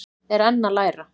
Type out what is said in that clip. Er enn að læra